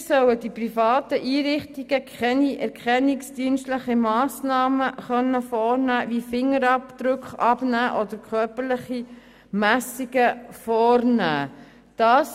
Weiter sollen private Einrichtungen keine erkennungsdienstlichen Massnahmen wie die Abnahme von Fingerabdrücken oder körperliche Messungen durchführen dürfen.